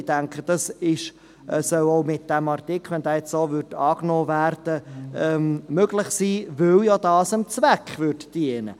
Ich denke, dies soll auch mit diesem Artikel – sofern dieser denn so angenommen wird – möglich sein, weil dies dem Zweck diente.